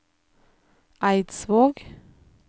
Eidsvåg